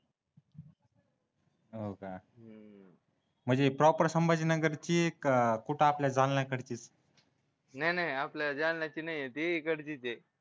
हो का म्हणजे प्रॉपर संभाजीनगरचे का कुठे आपल्या जा नाही नाही आपल्या जालन्याची नाही आहे ती तिकडचीच आहे